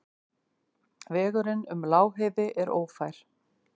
Vegurinn um Lágheiði er ófær.